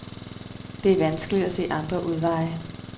Det er vanskeligt at se andre udveje.